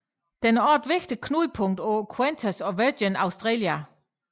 Den er også et vigtigt knudepunkt for Qantas og Virgin Australia